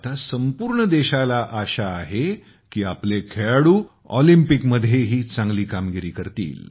आता संपूर्ण देशाला आशा आहे की आपले खेळाडू ऑलिम्पिकमध्येही चांगली कामगिरी करतील